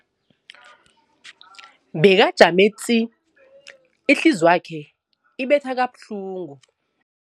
Bekajame du, ihliziyo yakhe ibetha kabuhlungu.